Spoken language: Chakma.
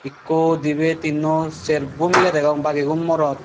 ekko dibi tinnu serbo miley degong bagigun morot.